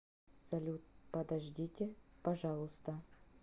салют подождите пожалуйста